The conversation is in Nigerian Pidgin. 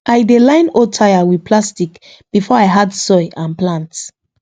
i dey line old tyre with plastic before i add soil and plant